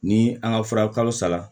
Ni an ka fura kalo sara